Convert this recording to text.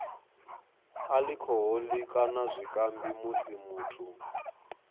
alikhoholi kana zwikambi musi muthu